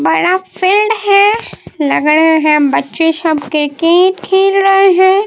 बड़ा फील्ड है लंगड़े हैं बच्चे सब क्रिकेट खेल रहे हैं।